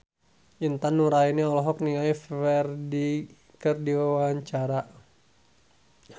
Intan Nuraini olohok ningali Ferdge keur diwawancara